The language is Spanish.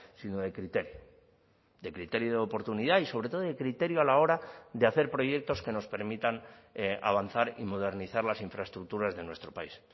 sino de criterio de criterio de oportunidad y sobre todo de criterio a la hora de hacer proyectos que nos permitan avanzar y modernizar las infraestructuras de nuestro país